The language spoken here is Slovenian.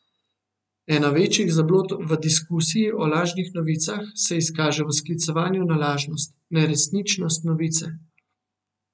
Ena večjih zablod v diskusiji o lažnih novicah se izkaže v sklicevanju na lažnost, neresničnost novice.